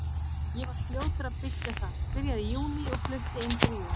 Ég var fljótur að byggja það, byrjaði í júní og flutti inn fyrir jól.